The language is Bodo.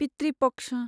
पितृ पक्ष